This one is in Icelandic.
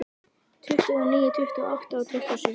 Tuttugu og níu, tuttugu og átta, tuttugu og sjö.